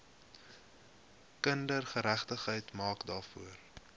kindergeregtigheid maak daarvoor